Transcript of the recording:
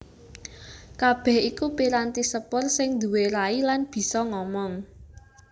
Kabèh iku piranti sepur sing nduwé rai lan bisa ngomong